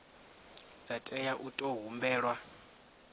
dza tea u tou humbelwa